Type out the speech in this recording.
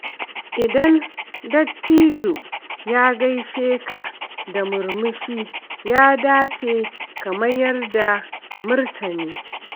Idan dattijo ya gaishe ka da murmushi, ya dace ka mayar da martani.